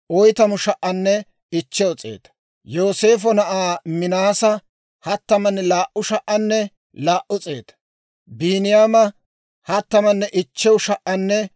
Muse, Aarooninne tammanne laa"u Israa'eeliyaa zaratuu kaappatuu paydeedda Asay hawaa.